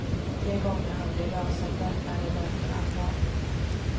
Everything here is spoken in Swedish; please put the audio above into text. De gånger han blir rasande är det därför allvar.